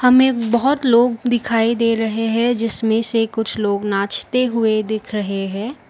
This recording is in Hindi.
बहुत लोग दिखाई दे रहे है जिसमें से कुछ लोग नाचते हुए दिख रहे है।